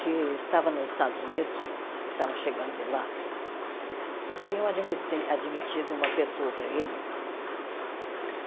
que estava nos Estados Unidos, ele estava chegando de lá, e tinham admite admitido uma pessoa para ele.